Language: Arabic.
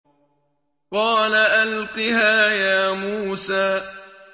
قَالَ أَلْقِهَا يَا مُوسَىٰ